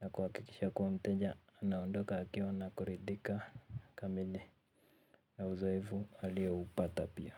na kwa akikisha kwa mteja anaondoka akiwa na kuridhika, kamili. Na uzoefu alioupata pia.